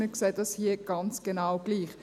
Wir sehen das hier ganz genau gleich.